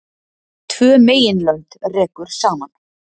Tvö meginlönd rekur saman